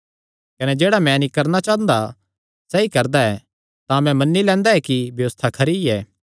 कने जेह्ड़ा मैं नीं करणा चांह़दा सैई करदा ऐ तां मैं मन्नी लैंदा ऐ कि व्यबस्था खरी ऐ